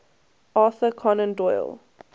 arthur conan doyle